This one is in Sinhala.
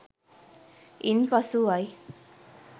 ඉන් පසුවයි.